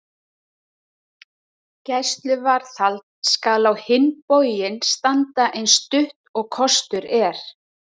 Gæsluvarðhald skal á hinn bóginn standa eins stutt og kostur er.